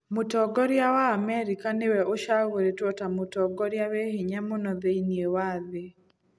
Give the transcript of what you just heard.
Mũtongoria wa Amerika nĩwe acagũrĩtwo ta mũtongoria wĩ hinya mũno thĩinĩ wa thĩ.